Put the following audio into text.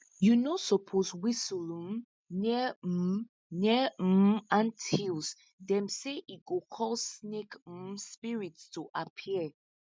you no suppose whistle um near um near um anthills them say e go call snake um spirits to appear